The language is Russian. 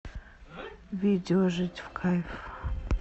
видео жить в кайф